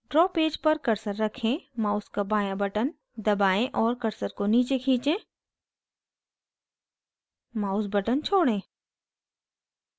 draw page पर cursor रखें mouse का बाँया button दबाएं और cursor को नीचे खींचे mouse button छोड़ें